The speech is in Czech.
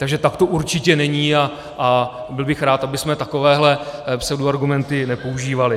Takže tak to určitě není a byl bych rád, abychom takovéhle pseudoargumenty nepoužívali.